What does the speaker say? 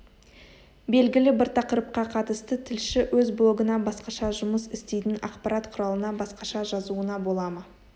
белгілі бір тақырыпқа қатысты тілші өз блогына басқаша жұмыс істейтін ақпарат құралына басқаша жазуына бола ма